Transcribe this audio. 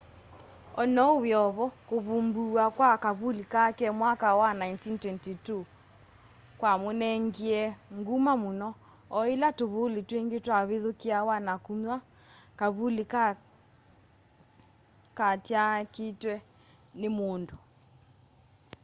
onou wiovo kuvumbuwa kwa kavuli kake mwaka wa 1922 ni kwamunengie nguma muno o yila tuvuli twingi twavithukiawa na kuywa kavuli kaa katyaakiitwa ni mundu